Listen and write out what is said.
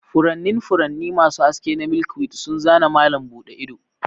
Furannin furanni masu haske na milkweed sun zana malam buɗe ido.